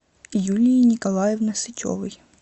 юлии николаевны сычевой